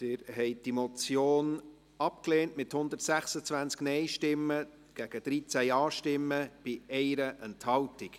Sie haben die Motion abgelehnt, mit 126 Nein- gegen 13 Ja-Stimmen bei 1 Enthaltung.